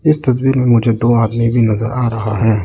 इस तस्वीर में मुझे दो आदमी भी नजर आ रहा है।